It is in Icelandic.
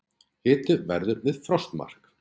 Hiti verður við frostmark